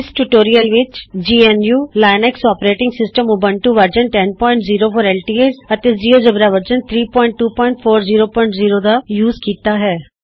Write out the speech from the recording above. GeoGebra ਦੇ ਨਾਲ ਸ਼ੁਰੂਆਤ ਕਰਨ ਲਈ ਮੈਂ ਇਸਤੇਮਾਲ ਕਰ ਰਹੀ ਹਾਂ ਜੀਐਨਯੂਲਿਨਕਸ ਅੋਪਰੇਟਿੰਗ ਸਿਸਟਮ ਦਾ ਉਬੰਤੂ ਵਰਜ਼ਨ 1004 ਐਲਟੀਐਸ gnuਲਿਨਕਸ operating system Ubuntu version 1004 LTS ਅਤੇ ਜਿਉਜੇਬਰਾ ਵਰਜ਼ਨ 32400